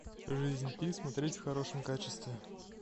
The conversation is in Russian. жизнь пи смотреть в хорошем качестве